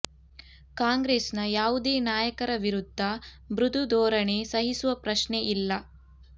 ಕಾಂಗ್ರೆಸ್ ನ ಯಾವುದೇ ನಾಯಕರ ವಿರುದ್ಧ ಮೃದು ಧೋರಣೆ ಸಹಿಸುವ ಪ್ರಶ್ನೆ ಇಲ್ಲ